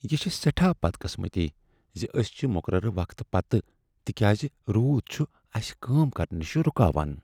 یہ چھےٚ سیٹھاہ بدقسمتی ز أسۍ چھ مقرر وقتہٕ پتھ تکیاز رود چھ اسہ کٲم کرنہٕ نِشہٕ رکاوان۔